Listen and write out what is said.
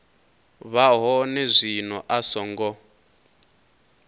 vha hone zwino a songo